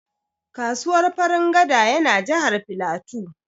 Kasuwar Farin gada ya na Jahar Filatu